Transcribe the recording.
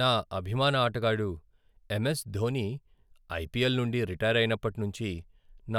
నా అభిమాన ఆటగాడు ఎం.ఎస్. ధోని ఐపిఎల్ నుండి రిటైర్ అయినప్పటి నుంచి,